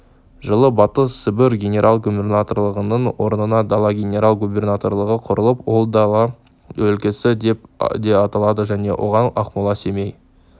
жылы батыс сібір генерал-губернаторлығының орнына дала генерал-губернаторлығы құрылып ол дала өлкесі деп те аталды және оған ақмола семей